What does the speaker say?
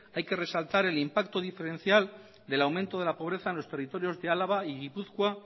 hay que resaltar el impacto diferencial del aumento de la pobreza a los territorios de álava y gipuzkoa